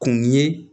Kun ye